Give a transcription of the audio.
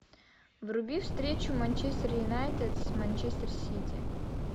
вруби встречу манчестер юнайтед с манчестер сити